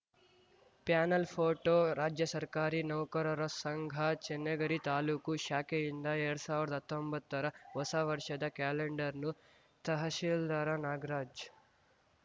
panel photo ರಾಜ್ಯ ಸರ್ಕಾರಿ ನೌಕರರ ಸಂಘ ಚೆನ್ನಗಿರಿ ತಾಲೂಕು ಶಾಖೆಯಿಂದ ಎರಡ್ ಸಾವಿರ್ದ ಹತ್ತೊಂಬತ್ತರ ಹೊಸವರ್ಷದ ಕ್ಯಾಲೆಂಡರ್‌ನ್ನು ತಹಶೀಲ್ದಾರ ನಾಗರಾಜ್‌